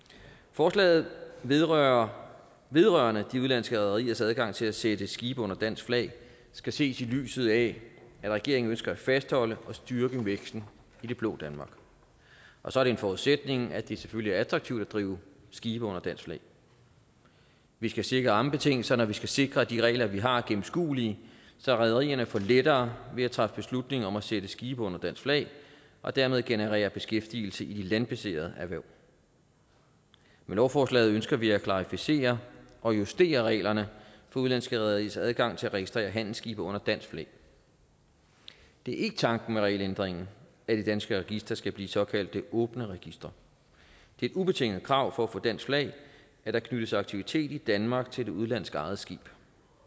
forslaget vedrørende vedrørende de udenlandske rederiers adgang til at sætte skibe under dansk flag skal ses i lyset af at regeringen ønsker at fastholde og styrke væksten i det blå danmark og så er det en forudsætning at det selvfølgelig er attraktivt at drive skibe under dansk flag vi skal sikre rammebetingelserne og vi skal sikre at de regler vi har er gennemskuelige så rederierne får lettere ved at træffe beslutning om at sætte skibe under dansk flag og dermed generere beskæftigelse i de landbaserede erhverv med lovforslaget ønsker vi at klarificere og justere reglerne for udenlandske rederiers adgang til at registrere handelsskibe under dansk flag det er ikke tanken med regelændringen at de danske registre skal blive såkaldte åbne registre det er et ubetinget krav for at få dansk flag at der knyttes aktivitet i danmark til det udenlandsk ejede skib